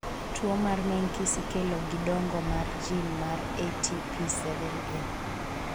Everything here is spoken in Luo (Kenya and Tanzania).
tuo mar menkes ikelo gi dongo mar gin mar ATP7A